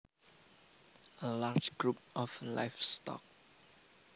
A large group of livestock